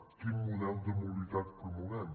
quin model de mobilitat promovem